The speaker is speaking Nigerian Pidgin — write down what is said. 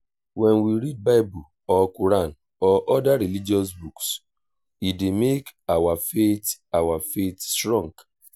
when we read bible or quran or oda religious books e dey make our faith our faith strong